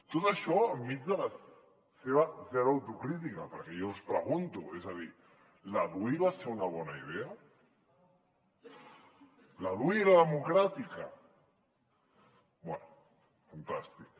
tot això enmig de la seva zero autocrítica perquè jo els pregunto és a dir la dui va ser una bona idea la dui era democràtica bé fantàstic